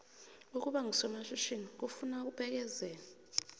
ukuba ngusomatjhithini kufuna ukubekezela